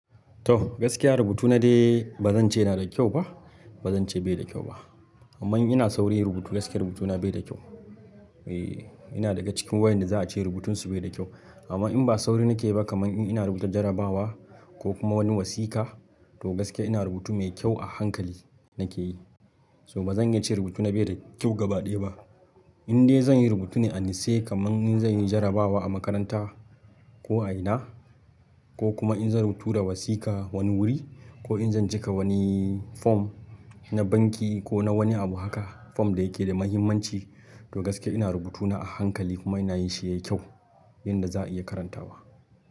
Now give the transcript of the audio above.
To gaskiya rubutuna dai bazan ce yana da kyau ba, bazan ce bai da kyau ba. Amma in ina sauri rubutu gaskiya rubutuna bai da kyau. E, ina daga cikin waƴanda za a ce rubutunsu bai da kyau. Amma in ba sauri nake ba kaman in ina rubuta jarabawa ko kuma wani wasiƙa to gaskiya ina rubutu mai kyau a hankali nake yi. To bazan iya ce rubutuna bai da kyau gaba ɗaya ba. In dai zan yi rubutu ne a nutse kaman in zan yi jarabawa a makaranta ko a ina ko kuma in zan rubuta wasiƙa wani wuri ko in zan cika wani form na banki ko na wani abu haka form da yake da muhimmanci to gaskiya ina rubutu na a hankali kuma ina yin shi yayi kyau yanda za'a iya karantawa.